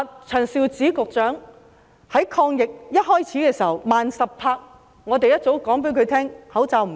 陳肇始局長在抗疫一開始時慢十拍，我們一早告訴她口罩不足夠。